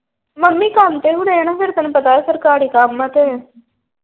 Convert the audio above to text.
Mummy ਕੰਮ ਤੇ ਹੁਣੇ ਆ ਨਾ ਫੇਰ ਤੈਨੂੰ ਪਤਾ ਸਰਕਾਰੀ ਕੰਮ ਆ ਤੇ।